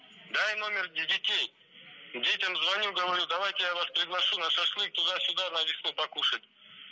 дай номер детей детям звоню говорю давайте я вас приглашу на шашлык туда сюда на покушать